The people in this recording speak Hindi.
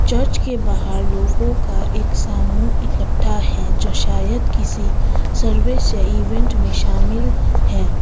चर्च के बाहर लोगों का एक समूह इकट्ठा है जो शायद किसी सर्विस या इवेंट में शामिल हैं।